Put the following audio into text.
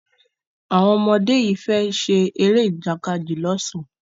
Àwon ọmọ dé yí fè ṣe Eré Ìjàkadì l ọsán.